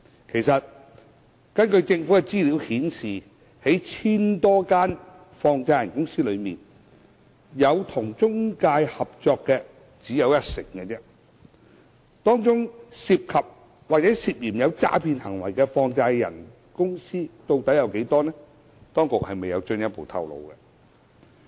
其實，根據政府資料顯示，在 1,000 多間放債人公司中，有與中介合作的只有一成，當中涉及或涉嫌有詐騙行為的放債人公司究竟有多少，當局未有進一步透露。